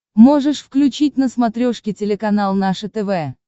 можешь включить на смотрешке телеканал наше тв